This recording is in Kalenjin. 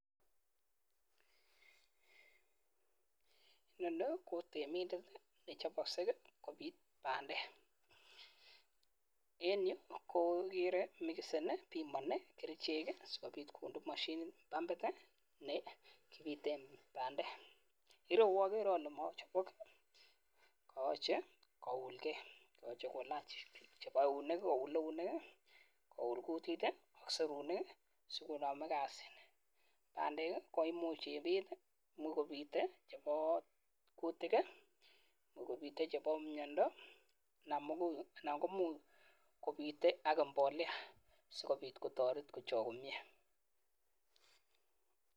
Inoni ko temindet nechopei kobit bandek en yu ko agerei mikseni pimani kerichek eng pampit nekibiten bandek koi koyochei kounkei yachei kolach chebo eunek koun kutit serunek ii sikonami kasit pandek koimuch ibit chebo kutik anan chebo mnyendo anan kobite ak mbolea sikobit kotoreti kochok komyee